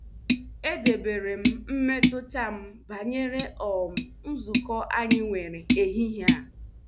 Edebere m mmetụta m banyere um nzukọ anyị nwere ehihie a.